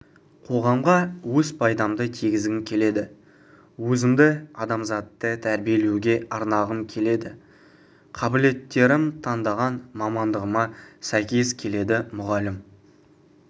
қоғамға өз пайдамды тигізгім келеді өзімді адамзатты тәрбиелеуге арнағым келеді қабілеттерім таңдаған мамандығыма сәйкес келеді мұғалім